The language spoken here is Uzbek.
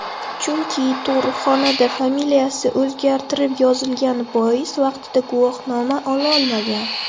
Chunki tug‘ruqxonada familiyasi o‘zgartirib yozilgani bois vaqtida guvohnoma ololmagan.